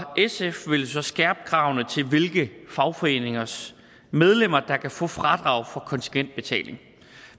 sf vil så skærpe kravene til hvilke fagforeningers medlemmer der kan få fradrag for kontingentbetaling